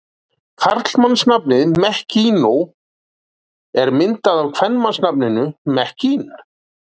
Karlmannsnafnið Mekkinó er myndað af kvenmannsnafninu Mekkín.